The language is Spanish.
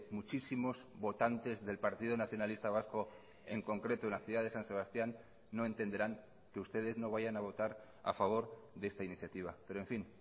muchísimos votantes del partido nacionalista vasco en concreto en la ciudad de san sebastián no entenderán que ustedes no vayan a votar a favor de esta iniciativa pero en fin